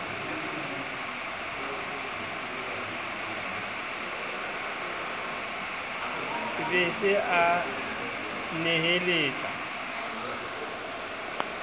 be a se a neheletsa